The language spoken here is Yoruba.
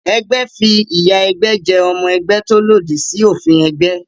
Ẹgbẹ́ fi ìyà ẹgbẹ́ jẹ ọmọ ẹgbẹ́ tó lòdì sí òfin ẹgbẹ́